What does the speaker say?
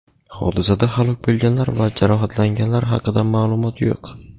Hodisada halok bo‘lganlar va jarohatlanganlar haqida ma’lumot yo‘q.